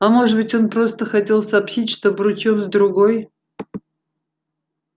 а может быть он просто хотел сообщить что обручен с другой